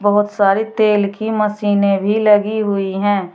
बहुत सारे तेल की मशीनें भी लगी हुई है।